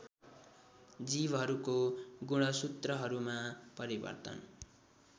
जीवहरूको गुणसूत्रहरूमा परिवर्तन